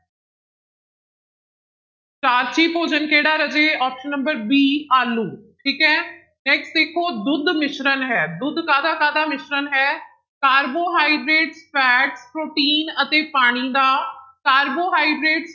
starchy ਭੋਜਨ ਕਿਹੜਾ ਰਾਜੇ option number b ਆਲੂ ਠੀਕ ਹੈ next ਦੇਖੋ ਦੁੱਧ ਮਿਸ਼ਰਣ ਹੈ, ਦੁੱਧ ਕਾਹਦਾ ਕਾਹਦਾ ਮਿਸ਼ਰਣ ਹੈ, ਰਬੋਹਾਈਡ੍ਰੇਟ fat ਪ੍ਰੋਟੀਨ ਅਤੇ ਪਾਣੀ ਦਾ, ਕਾਰਬੋਹਾਈਡ੍ਰੇਟ